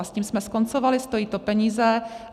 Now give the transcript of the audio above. A s tím jsme skoncovali, stojí to peníze.